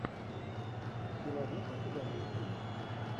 ты найдешь у себя мультфильм